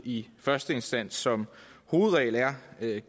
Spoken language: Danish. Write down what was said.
i første instans som hovedregel er